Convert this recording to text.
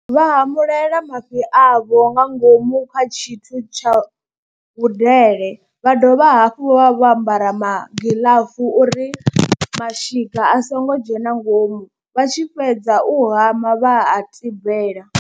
Vha hamulela mafhi avho nga ngomu kha tshithu tsha vhudele, vha dovha hafhu vha vho ambara magiḽafu uri mashika a songo dzhena ngomu vha tshi fhedza u hama vha a tibela.